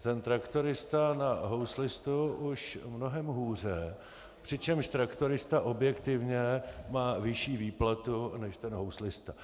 ten traktorista na houslistu už mnohem hůře, přičemž traktorista objektivně má vyšší výplatu než ten houslista.